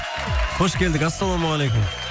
қош келдік ассаламағалейкум